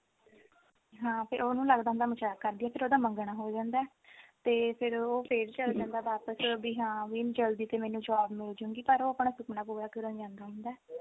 ਹਾਂ ਫਿਰ ਉਹਨੂੰ ਲੱਗਦਾ ਹੁੰਦਾ ਵੀ ਮਜ਼ਾਕ ਕਰਦੀ ਆ ਫਿਰ ਉਹਦਾ ਮੰਗਣਾ ਹੋ ਜਾਂਦਾ ਤੇ ਫਿਰ ਉਹ ਫਿਰ ਚੱਲ ਜਾਂਦਾ ਵਾਪਿਸ ਵੀ ਹਾਂ ਵੀ ਜਲਦੀ ਤੋਂ ਮੈਨੂੰ job ਮਿਲਜੁ ਗੀ ਪਰ ਉਹ ਆਪਣਾ ਸੁਪਨਾ ਪੂਰਾ ਕਰਨ ਜਾਂਦਾ ਹੁੰਦਾ